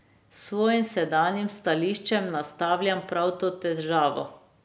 S svojim sedanjim stališčem naslavljam prav to težavo.